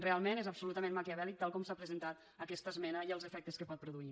realment és absolutament maquiavèl·lic tal com s’ha presentat aquesta esmena i els efectes que pot produir